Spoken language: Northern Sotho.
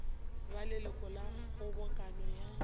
ba leloko la kgobokano ya